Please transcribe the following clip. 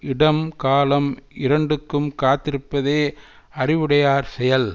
இடம் காலம் இரண்டுக்கும் காத்திருப்பதே அறிவுடையார் செயல்